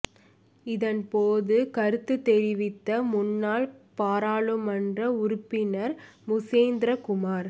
இதன் போது கருத்து தெரிவித்த முன்னாள் பாராளுமன்ற உறுப்பினர் மு சந்திரகுமார்